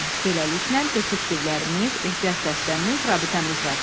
Beləliklə, detektivlərimiz, ehtiyat dəstəmiz, rabitəmiz var.